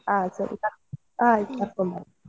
ಹಾ ಸರಿ ಆಯ್ತ್ ಸರಿ ಆಯ್ತ್ ಕರ್ಕೊಂಡು ಬರ್ತೇನೆ.